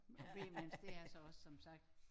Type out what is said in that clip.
Og b-menneske der er jeg så også som sagt